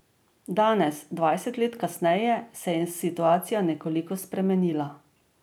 Danes, dvajset let kasneje, se je situacija nekoliko spremenila.